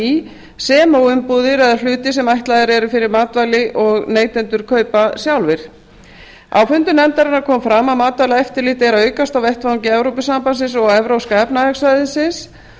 í sem og umbúðir eða hluti sem ætlaðir eru fyrir matvæli og neytendur kaupa sjálfir á fundum nefndarinnar kom fram að matvælaeftirlit er að aukast á vettvangi evrópusambandsins og evrópska efnahagssvæðisins